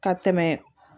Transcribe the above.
Ka tɛmɛ